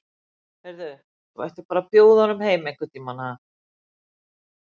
Heyrðu. þú ættir bara að bjóða honum heim einhvern tíma, ha.